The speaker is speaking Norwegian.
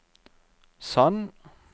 Sand